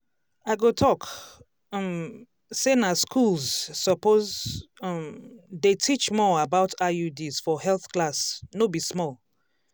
i go talk um say na schools suppose um dey teach more about iuds for health class no be small